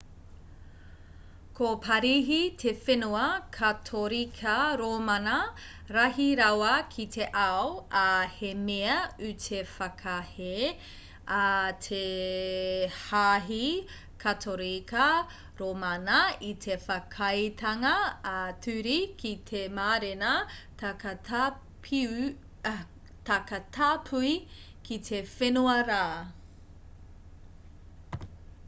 ko parihi te whenua katorika rōmana rahi rawa ki te ao ā he mea ū te whakahē a te hāhi katorika rōmana i te whakaaetanga ā-ture ki te mārena takatāpui ki te whenua rā